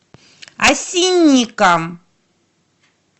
осинникам